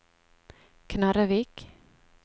Knarrevik